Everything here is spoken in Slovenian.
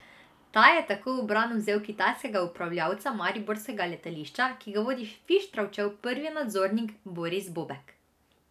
Ta je tako v bran vzel kitajskega upravljavca mariborskega letališča, ki ga vodi Fištravčev prvi nadzornik Boris Bobek.